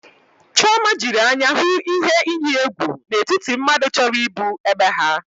Chiọma jiri anya hụ ihe iyi egwu n'etiti mmadụ chọrọ igbu ebe ha.